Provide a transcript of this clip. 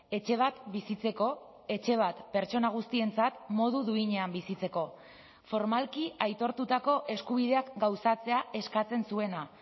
etxe bat bizitzeko etxe bat pertsona guztientzat modu duinean bizitzeko formalki aitortutako eskubideak gauzatzea eskatzen zuena